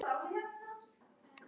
Fyrirgefðu mér æsinginn.